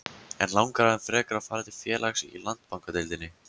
En langar hann frekar að fara til félags í Landsbankadeildinni?